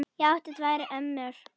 Ég átti tvær ömmur.